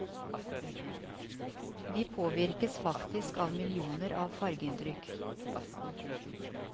Vi påvirkes faktisk av millioner av fargeinntrykk.